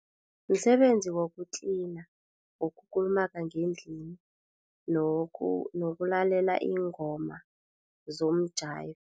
Msebenzi wokutlina, wokulumaga ngendlini nokulalela iingoma zomjayivo.